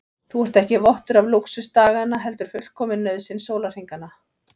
Þú ert ekki vottur af lúxus daganna heldur fullkomin nauðsyn sólarhringanna.